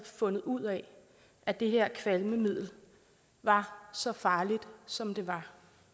fundet ud af at det her kvalmemiddel var så farligt som det var